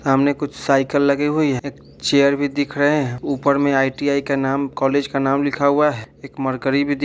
सामने कुछ साइकिल लगे हुई है एक चेयर भी दिख रहे हैं ऊपर में आई.टी.आई. का नाम कॉलेज का नाम लिखा हुआ है एक मर्करी भी दिख --